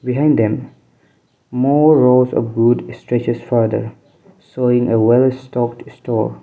in them more rows of good streches further showing a well stocked store.